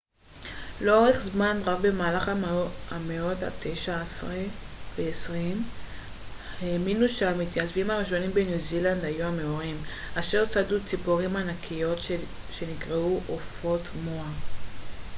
לאורך זמן רב במהלך המאות התשע-עשרה והעשרים האמינו שהמתיישבים הראשונים בניו זילנד היו המאורים אשר צדו ציפורים ענקיות שנקראו עופות מואה